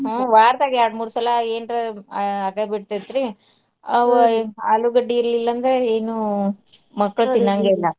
ಹು ವಾರ್ದಾಗ ಎರ್ಡ್ ಮೂರ್ ಸಲಾ ಏನ್ರ ಆ ಆಗೇಬಿಡ್ತೇತ್ರಿ ಆಲೂಗಡ್ಡಿ ಇರ್ಲಿಲಂದ್ರ ಏನೂ ಮಕ್ಕ್ಳು .